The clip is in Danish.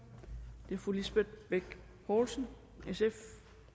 er fru lisbeth bech poulsen sf